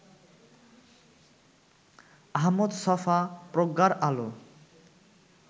আহমদ ছফা: প্রজ্ঞার আলো